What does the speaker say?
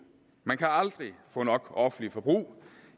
man kan aldrig få nok offentligt forbrug